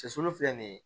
Cɛsulu filɛ nin ye